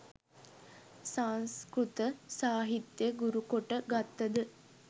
සංස්කෘත සාහිත්‍ය ගුරුකොට ගත්තද